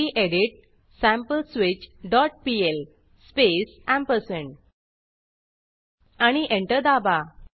गेडीत sampleswitch dot PL space ampersand आणि enter दाबा